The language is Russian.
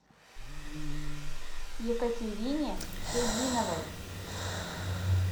екатерине созиновой